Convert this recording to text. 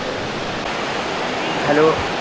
hello, ਹਾਂਜੀ,